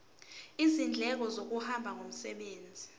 izindleko zokuhamba ngomsebenzi